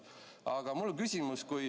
Aga mul on küsimus.